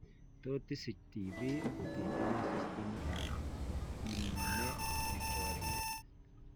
Tot isich TB kotitinye systemit ab immune nechoriren